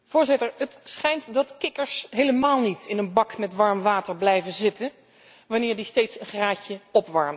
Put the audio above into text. Het schijnt dat kikkers helemaal niet in een bak met warm water blijven zitten wanneer die steeds een graadje opwarmt.